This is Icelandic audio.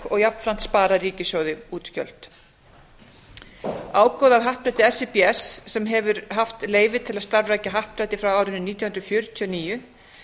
og jafnframt sparað ríkissjóði útgjöld ágóða af happdrætti síbs sem hefur haft leyfi til að starfrækja happdrætti frá árinu nítján hundruð fjörutíu og níu